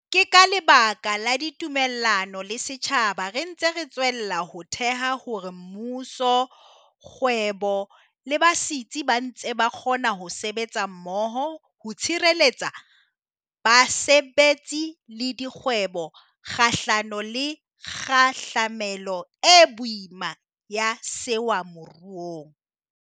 Ke ka lebaka la ditumellano le setjhaba re ntse re tswella ho theha hore mmuso, kgwebo le basetsi ba ntse ba kgona ho sebetsa mmoho ho tshireletsa basebetsi le dikgwebo kgahlano le kgahlamelo e boima ya sewa moruong.